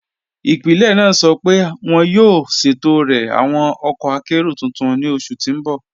Ipílẹ̀ naa sọ́ pẹ̀ wọn yóò ṣẹtọ̀rẹ̀ awọn ọkọ̀ àkéró tuntun ni oṣù tí n bọ̀.